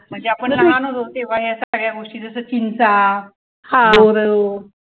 म्हणजे आपण लहान होतो तेव्हा सगळ्या या गोष्टी जसं चिंचा बोरं